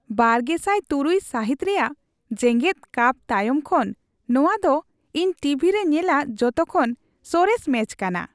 ᱒᱐᱐᱖ ᱥᱟᱹᱦᱤᱛ ᱨᱮᱭᱟᱜ ᱡᱮᱜᱮᱫ ᱠᱟᱯ ᱛᱟᱭᱚᱢ ᱠᱷᱚᱱ ᱱᱚᱶᱟ ᱫᱚ ᱤᱧ ᱴᱤᱵᱷᱤ ᱨᱮ ᱧᱮᱞᱟᱜ ᱡᱚᱛᱚ ᱠᱷᱚᱱ ᱥᱚᱨᱮᱥ ᱢᱮᱪ ᱠᱟᱱᱟ ᱾